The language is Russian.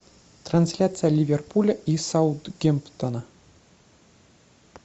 трансляция ливерпуля и саутгемптона